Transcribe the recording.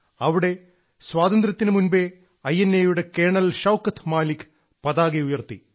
അവിടെ സ്വാതന്ത്ര്യത്തിനു മുൻപേ ഐ എൻ എയുടെ കേണൽ ഷൌക്കത്ത് മാലിക് പതാക ഉയർത്തി